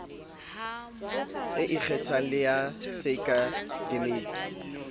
e ikgethang le ya seakademiki